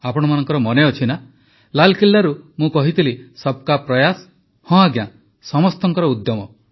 ଆପଣମାନଙ୍କର ମନେ ଅଛି ନା ଲାଲକିଲ୍ଲାରୁ ମୁଁ କହିଥିଲି ସବକା ପ୍ରୟାସ ହଁ ଆଜ୍ଞା ସମସ୍ତଙ୍କ ଉଦ୍ୟମ